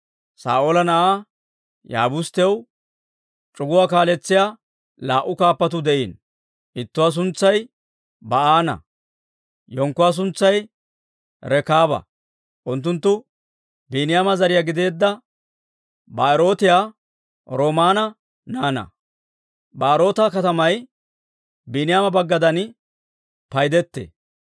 Saa'oola na'aa Yaabusttew c'uguwaa kaaletsiyaa laa"u kaappatuu de'iino; ittuwaa suntsay Ba'aana; yenkkuwaa suntsay Rekaaba; unttunttu Biiniyaama zariyaa gideedda Ba'erootiyaa Rimoona naanaa. Ba'eroota katamay Biiniyaama baggaadan paydetee;